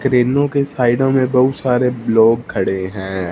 क्रेनों के साइडो में बहुत सारे लोग खड़े है।